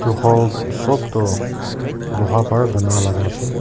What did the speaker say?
Tu hall sop tu loha bar bana laka ase.